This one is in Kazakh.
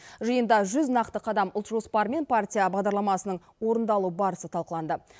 жиында жүз нақты қадам ұлт жоспары мен партия бағдарламасының орындалу барысы талқыланды